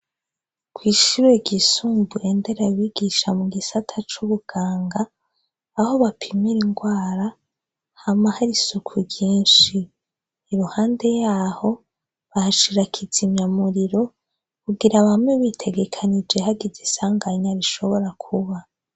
Kwishure ryisumbuye nderabigisha mugisata c' ubuganga aho bapimira ingwara hama hari isuku ryinshi iruhande yaho bahashira ikizimyamiriro kugira bame bitegekanije hagize isanganya rishobora kuba.